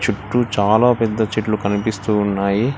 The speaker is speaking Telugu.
చుట్టూ చాలా పెద్ద చెట్లు కనిపిస్తూ ఉన్నాయి